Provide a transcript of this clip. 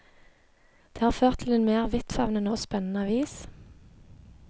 Det har ført til en mer vidtfavnende og spennende avis.